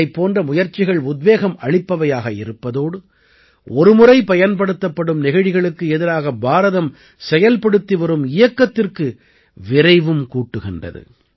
இதைப் போன்ற முயற்சிகள் உத்வேகம் அளிப்பவையாக இருப்பதோடு ஒருமுறை பயன்படுத்தப்படும் நெகிழிகளுக்கு எதிராக பாரதம் செயல்படுத்தி வரும் இயக்கத்திற்கு விரைவும் கூட்டுகின்றது